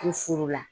N furu la